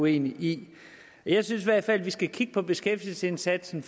enige i jeg synes i hvert fald vi skal kigge på beskæftigelsesindsatsen